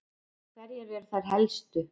Hverjar eru þær helstu?